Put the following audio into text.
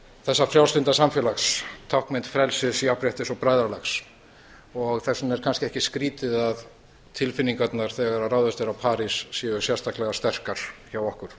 þessa frjálslynda samfélags táknmynd frelsis jafnréttis og bræðralags þess vegna er kannski ekki skrýtið að tilfinningarnar þegar ráðist er á parís séu sérstaklega sterkar hjá okkur